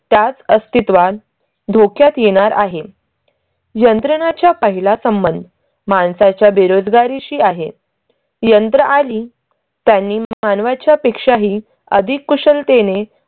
त्याच अस्तित्वात धोक्यात येणार आहे. यंत्रणाच्या पाहिला संबंध माणसाच्या बेरोजगारीशी आहे. यंत्र आली त्यांनी मानवाच्या पेक्षाही आधी कुशलतेने